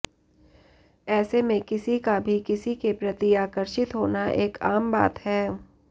ऐसे में किसी का भी किसी के प्रति आकर्षित होना एक आम बात है